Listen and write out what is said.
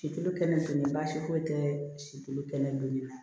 Situlu kɛnɛ baasi foyi tɛ sikɛnɛ don nin na